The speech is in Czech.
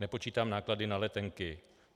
Nepočítám náklady na letenky.